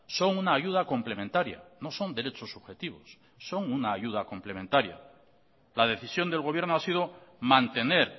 son una ayuda complementaria no son derechos subjetivos son una ayuda complementaria la decisión del gobierno ha sido mantener